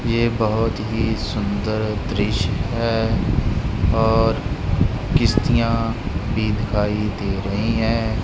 ये बहोत ही सुंदर दृश्य है और किश्तियां भी दिखाई दे रही है।